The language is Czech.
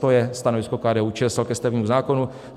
To je stanovisko KDU-ČSL ke stavebnímu zákonu.